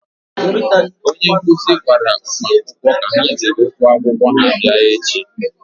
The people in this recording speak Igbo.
onye nkụzi gwara ụmụakwụkwọ ka ha jiri ụgwọ akwụkwọ ha bịa echi.